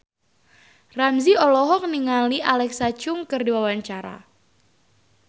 Ramzy olohok ningali Alexa Chung keur diwawancara